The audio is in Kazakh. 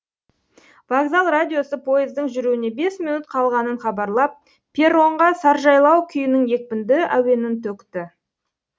вокзал радиосы жүруіне бес минут қалғанын хабарлап перронға саржайлау күйінің екпінді әуенін төкті